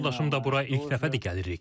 Həyat yoldaşım da bura ilk dəfədir gəlirik.